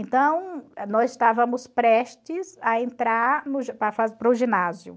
Então, nós estávamos prestes a entrar para o ginásio.